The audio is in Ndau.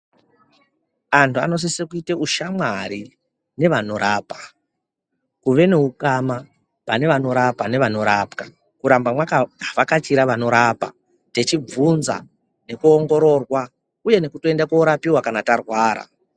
Antu anosise kuite ushamwari nevanorapa. Kuve neukama pane varopa nevanorapwa, kuramba mwakavhakachira vanorapa techibvunza nekuongororwa uye nekutoenda korapiwa kana tarwara.